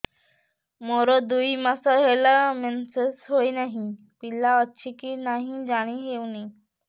ମୋର ଦୁଇ ମାସ ହେଲା ମେନ୍ସେସ ହୋଇ ନାହିଁ ପିଲା ଅଛି କି ନାହିଁ ଜାଣି ହେଉନି